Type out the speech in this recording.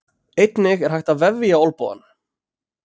Einnig er hægt að vefja olnbogann.